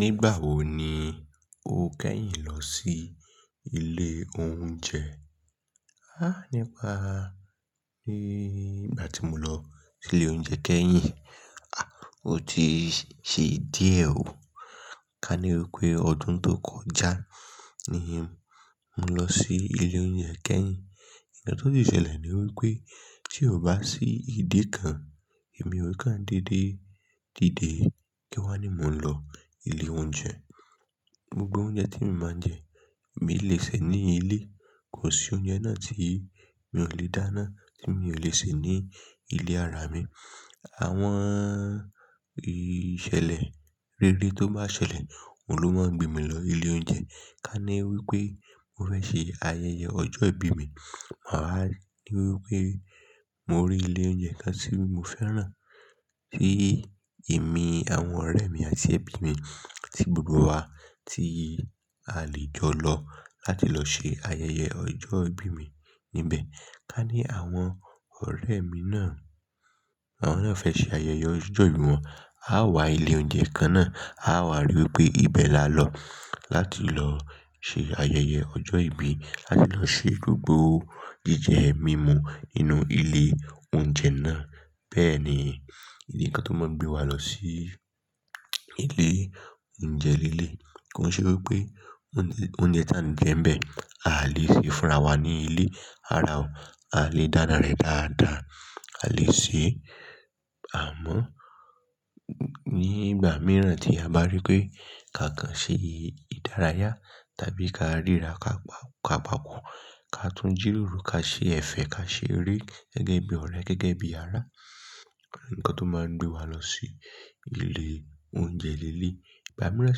Nígbà wo ni o kẹ́yìn lọ sí ilé oúnjẹ? Há! Nípa ní ìgbà tí mo lọ ilé oúnjẹ kẹ́yìn, ah, ó ti ṣe díẹ̀ o. Ka ní wí pé ọdún tó kọjá ni mu lọ sí ilé oúnjẹ kẹ́yìn. Ìkan tí ó le ṣẹlẹ̀ ni wípé tí ò bá sí ìdí kan èmi ò kan dédé dìde kí wá ní mo ń lọ ilé oúnjẹ. Gbogbo oúnjẹ tí màá jẹ, èmi lè ṣe ní ilé. Kò sí oúnjẹ náà tí mi ò lè dáná, tí mi ò lè sè ní ilé ara mi. Àwọn ìṣẹ̀lẹ̀ rere tó bá ṣẹlẹ̀, òun ló máa ń gbé mi lọ ilé oúnjẹ. Ka ní wípé mo fẹ́ ṣe ayẹyẹ ọjọ́ ìbí mi, màá rí ní wípé mo rí ilé oúnjẹ kan tí mo fẹ́ràn tí èmi, àwọn ọ̀rẹ́ mi àti ẹbí mi tí gbogbo wa tí a lè jọ lọ láti lọ ṣe ayẹyẹ ọjọ́ ìbí mi níbẹ̀. Ka ní àwọn ọ̀rẹ́ mi náà, àwọn náà fẹ́ ṣe ayẹyẹ ọjọ́ ìbí wọn, a wà ilé oúnjẹ kan náà, a wà rí i pé ibẹ̀ la lọ láti lọ ṣe ayẹyẹ ọjọ́ ìbí, láti lọ ṣe gbogbo jíjẹ mímu nínú ilé oúnjẹ náà. Bẹ́ẹ̀ ni, ìdí kan tó máa ń gbé wa lọ sí ilé oúnjẹ líle. Kò ṣe wípé oúnjẹ tí a ń jẹ ń bẹ̀, à lé ṣe fúnra wa ní ilé rárá o. À lé dáná rẹ̀ dáadáa, à lé ṣe àmọ́ nígbà míràn tí a bá rí pé ká kan ṣe ìdárayá tàbí ká ríra ká pá, ká papọ̀, ká tún jíròrò, ká ṣe ẹ̀fẹ̀, ká ṣe eré gẹ́gẹ́ bí ọ̀rẹ́, gẹ́gẹ́ bí ará. Ǹkan tó máa ń gbé wa lọ sí ilé oúnjẹ líle. Ìgbà mìràn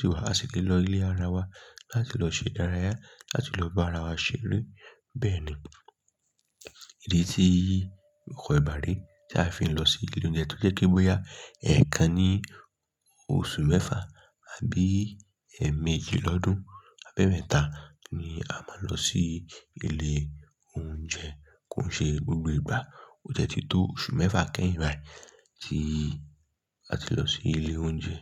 sì wà, a sì lè lọ ilé ara wa láti lọ ṣe ìdárayá, láti lọ bá ara wa ṣe re. Bẹ́ẹ̀ ni. Ìdí tí ogbo ìgbà ré tí a fi ń lọ sí ilé oúnjẹ tó jẹ́ pé bóyá ẹ̀ẹkan ní oṣù mẹ́fa àbí ẹ̀ẹ̀mejì lọ́dún àbí ẹ́mẹ́ta ni a máa lọ sí ilé oúnjẹ. Kò ṣe gbogbo ìgbà. Ó tiẹ̀ ti tó oṣù mẹ́fa kẹ́yìn báyìí tí a ti lọ sí ilé oúnjẹ.